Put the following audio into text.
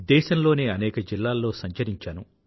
దేశంలోని అనేక జిల్లాల్లో సంచరించాను